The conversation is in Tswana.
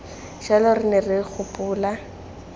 jalo re ne re gopola